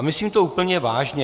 A myslím to úplně vážně.